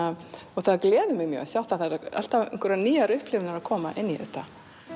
og það gleður mig mjög það eru alltaf einhverjar nýjar upplifanir að koma inn í þetta